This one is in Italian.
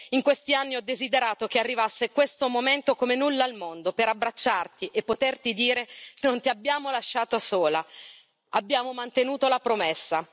In questi anni ho desiderato che arrivasse questo momento come nulla al mondo per abbracciarti e poterti dire non ti abbiamo lasciato sola, abbiamo mantenuto la promessa.